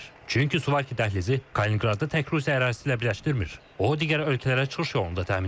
Çünki Suvalki dəhlizi Kalininqradı tək Rusiya ərazisi ilə birləşdirmir, o, digər ölkələrə çıxış yolunu da təmin edir.